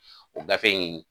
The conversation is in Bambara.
O gafe in